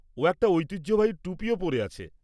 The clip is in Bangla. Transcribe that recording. ও একটা ঐতিহ্যবাহী টুপিও পরে আছে।